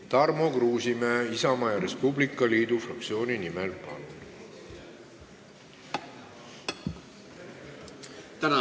Tarmo Kruusimäe Isamaa ja Res Publica Liidu fraktsiooni nimel, palun!